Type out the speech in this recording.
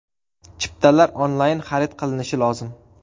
Chiptalar onlayn xarid qilinishi lozim.